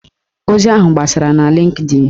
Ozi ahụ gbasara na Lịnkdịn